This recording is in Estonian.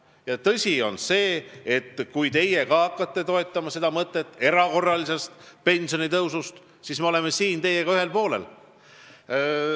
Ja tõsi on see, et kui teie hakkate ka toetama mõtet erakorralisest pensionitõusust, siis me oleme teiega ühel poolel.